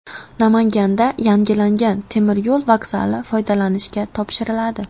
Namanganda yangilangan temir yo‘l vokzali foydalanishga topshiriladi.